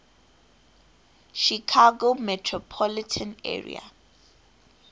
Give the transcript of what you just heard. chicago metropolitan area